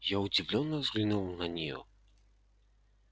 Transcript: я удивлённо взглянул на неё